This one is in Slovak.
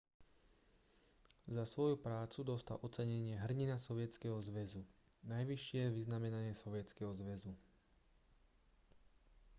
za svoju prácu dostal ocenenie hrdina sovietskeho zväzu najvyššie vyznamenanie sovietskeho zväzu